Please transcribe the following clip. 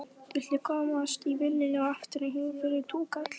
Viltu komast í vinnuna og aftur heim fyrir túkall?